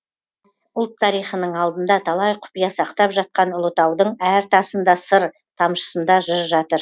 ұлт тариханың алдында талай құпия сақтап жатқан ұлытаудың әр тасын да сыр тамшысында жыр жатыр